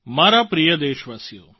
મારા પ્રિય દેશવાસીઓ